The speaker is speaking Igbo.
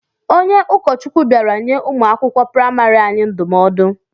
Onye ụkọchukwu bịara nye ụmụ akwụkwọ praịmarị anyị ndụmọdụ.